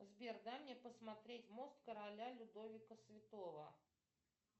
сбер дай мне посмотреть мост короля людовика святого